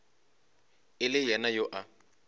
e le yena yo a